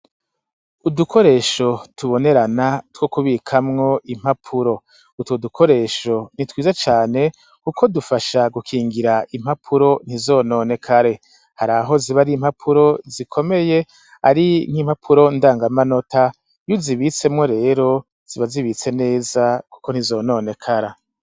Udukoresho tubonerana, two kubikamwo impapuro, utwo dukoresho ni twiza cane, kuko dufasha gukingira impapuro ntizononekare, hari aho ziba ari impapuro zikomeye, ari nk'impapuro ndangamanota, iyo uzibitsemwo rero ziba zibitse neza kuko ntizononekara.